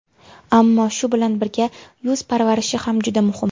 Ammo, shu bilan birga, yuz parvarishi ham juda muhim.